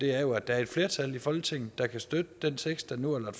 er jo at der er et flertal i folketinget der kan støtte den tekst der nu er